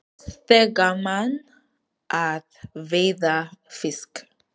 Finnst þér gaman að veiða fisk?